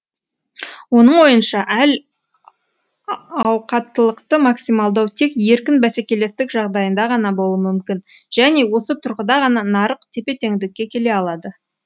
оның ойынша әл ауқаттылықты максималдау тек еркін бәсекелестік жағдайында ғана болуы мүмкін және осы тұрғыда ғана нарық тепе теңдікке келе алады